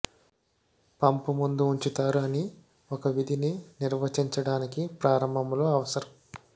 pump ముందు ఉంచుతారు అని ఒక విధిని నిర్వచించడానికి ప్రారంభంలో అవసరం